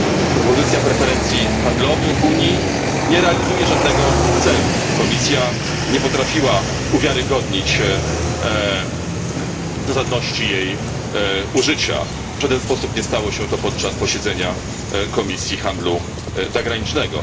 Propozycja preferencji handlowych Unii nie realizuje żadnego celu. Komisja nie potrafiła uwiarygodnić zasadności jej użycia, w żaden sposób nie stało się to podczas posiedzenia Komisji Handlu Zagranicznego.